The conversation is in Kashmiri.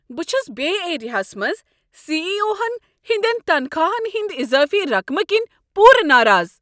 بہٕ چھس بے ایریاہس منٛز سی ای او ہن ہندِین تنخواہن ہندِ اضٲفی رقمہٕ كِنہِ پوٗر ناراض۔